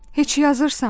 Heç yazırsan?